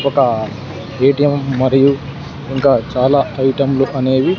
ఒక ఎ_టీ_యం మరియు ఇంకా చాలా ఐటం లు అనేవి.